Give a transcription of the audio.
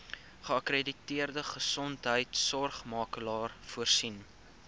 geakkrediteerde gesondheidsorgmakelaar voorsien